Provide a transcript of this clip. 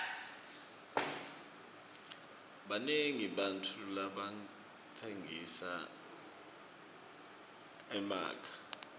banengi bantfu labatsengisa emakha